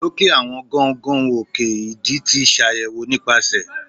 loke awọn gaungaun òke idì ti ṣayẹwo nipasẹ